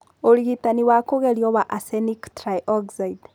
Ũrigitani wa kũgerio wa arsenic trioxide.